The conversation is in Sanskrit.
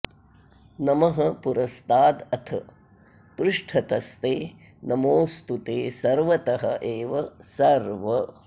नमः पुरस्तादथ पृष्ठतस्ते नमोऽस्तु ते सर्वत एव सर्व